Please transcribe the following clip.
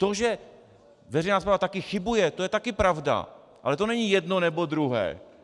To, že veřejná správa taky chybuje, to je taky pravda, ale to není jedno nebo druhé.